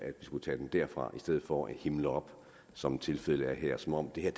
vi skulle tage den derfra i stedet for at man himler op som tilfældet er her som om det her